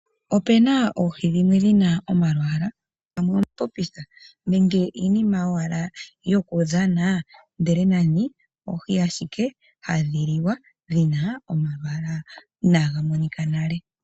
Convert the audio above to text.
Opena oohi dhimwe dhina omalwaala pamwe uutopitha nenge iinima owala yokudhana ndele nani oohi ashike hadhi liwa dhina omalwaala inaga monika nale .